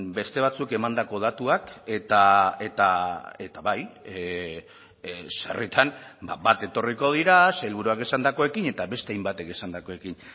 beste batzuk emandako datuak eta bai sarritan bat etorriko dira sailburuak esandakoekin eta beste hainbatek esandakoekin